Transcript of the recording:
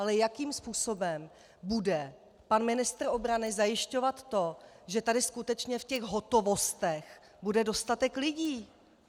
Ale jakým způsobem bude pan ministr obrany zajišťovat to, že tady skutečně v těch hotovostech bude dostatek lidí?